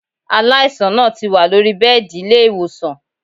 Aláìsàn náà ti wà lóri bẹ́ẹ̀dì ilé-ìwòsàn